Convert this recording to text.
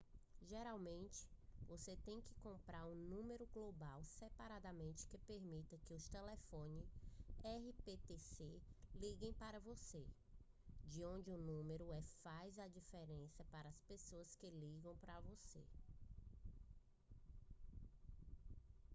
geralmente você tem que comprar um número global separadamente que permita que telefones rptc liguem para você de onde o número é faz diferença para as pessoas que ligam para você